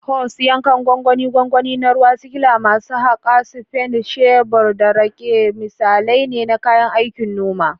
Hoes, yankan gwangwani, gwangwani na ruwa, sikila, masu haƙa, spade, shebur, da rake misalai ne na kayan aikin noma.